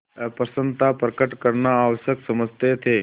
अप्रसन्नता प्रकट करना आवश्यक समझते थे